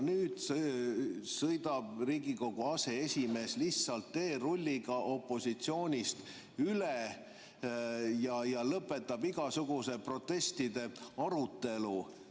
Nüüd sõidab Riigikogu aseesimees lihtsalt teerulliga opositsioonist üle ja lõpetab igasuguse protestide arutelu.